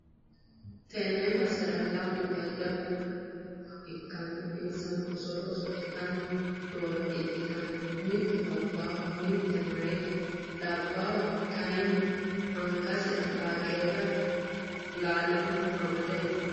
tenne basera lamu jajjabbu manni nooha ikkanna insano, osolo oso'litanni noore ikkitanna, mittu labbaho mittu meyaate, labbhu kayiinni angasi'ra baaqeela lallinoha amade no.